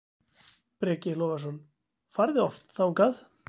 Breki Logason: Farið þið oft þangað?